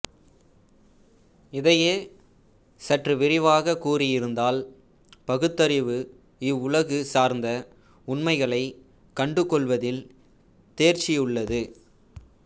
இதையே சற்று விரிவாகக் கூறுவதாயிருந்தால் பகுத்தறிவு இவ்வுலகு சார்ந்த உண்மைகளைக் கண்டுகொள்வதில் தேர்ச்சியுள்ளது